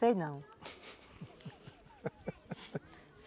Sei não